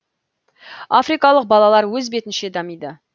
африкалық балалар өз бетінше дамиды